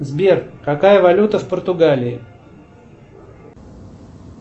сбер какая валюта в португалии